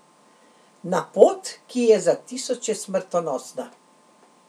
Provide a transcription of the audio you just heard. Na pot, ki je za tisoče smrtonosna.